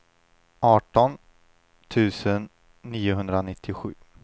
arton tusen niohundranittiosju